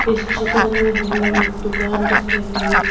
इस चित्र में हमें एक दुकान दिख रही है।